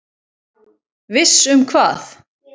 Viss um hvað?